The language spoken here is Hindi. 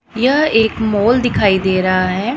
यह एक मॉल दिखाई दे रहा है।